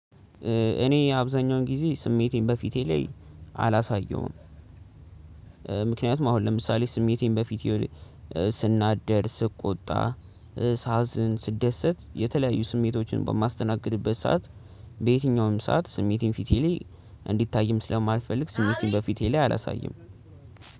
እኔ አብዛኛውን ጊዜ ስሜቴን በፊቴ ላይ አላሳየውም። ምክንያቱም አሁን ለምሳሌ ስሜቴን በፊቴ ስናገር ስቆጣ ሳዝን ስደሰት የተለያዩ ስሜቶችን በማስተናገድበት ሰዓት። በየትኛውም ሰዓት ስሜቴን ፊቴ ላይ እንዲታይም ስለማልፈልግ ስሜቴን በፊቴ ላይ አላሳይም።